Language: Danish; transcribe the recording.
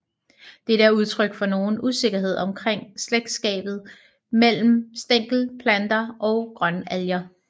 Dette er udtryk for nogen usikkerhed omkring slægtskabet mellem stængelplanter og grønalger